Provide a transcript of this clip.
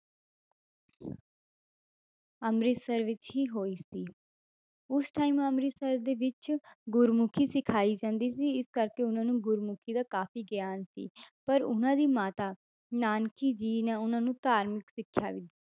ਅੰਮ੍ਰਿਤਸਰ ਵਿੱਚ ਹੀ ਹੋਈ ਸੀ ਉਸ time ਅੰਮ੍ਰਿਤਸਰ ਦੇ ਵਿੱਚ ਗੁਰਮੁਖੀ ਸਿਖਾਈ ਜਾਂਦੀ ਸੀ ਇਸ ਕਰਕੇ ਉਹਨਾਂ ਨੂੰ ਗੁਰਮੁਖੀ ਦਾ ਕਾਫ਼ੀ ਗਿਆਨ ਸੀ ਪਰ ਉਹਨਾਂ ਦੀ ਮਾਤਾ ਨਾਨਕੀ ਜੀ ਨੇ ਉਹਨਾਂ ਨੂੰ ਧਾਰਮਿਕ ਸਿੱਖਿਆ ਵੀ